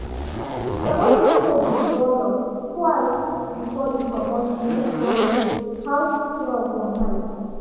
e dey always check the door locks twice before e comot to make sure say house secure for night.